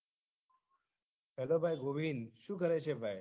hello ભાઈ ગોવિંદ શું કરે છે ભાઈ